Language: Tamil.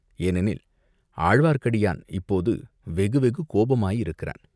ஏனெனில் ஆழ்வார்க்கடியான் இப்போது வெகு வெகு கோபமாயிருக்கிறான்!